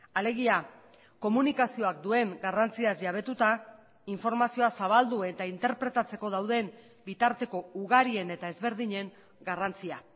alegia komunikazioak duen garrantziaz jabetuta informazioa zabaldu eta interpretatzeko dauden bitarteko ugarien eta ezberdinen garrantzia